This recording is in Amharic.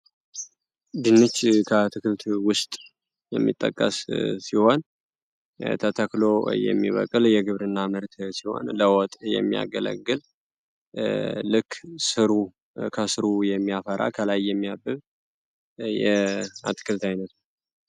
ድንች ከአትክልት ውስጥ የሚጠቀስ ሲሆን ተተክሎ የሚበቅል የግብርና ምርት ሲሆን ለወጥ የሚያገለግል ልክ ስሩ ከስሩ የሚያፈራ ከላይ የሚያብብ የአትክልት አይነት ነው።